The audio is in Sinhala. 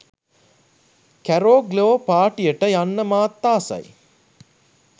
කැරෝ ග්ලෝ පාටියට යන්න මාත් ආසයි